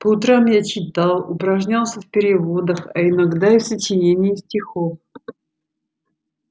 по утрам я читал упражнялся в переводах а иногда и в сочинении стихов